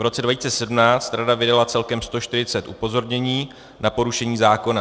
V roce 2017 rada vydala celkem 140 upozornění na porušení zákona.